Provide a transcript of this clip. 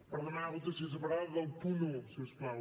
per demanar votació separada del punt un si us plau